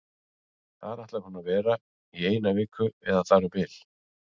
Þar ætlar hún að vera í eina viku eða þar um bil.